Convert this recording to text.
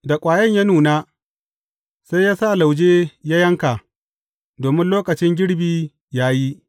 Da ƙwayan ya nuna, sai yă sa lauje yă yanka, domin lokacin girbi ya yi.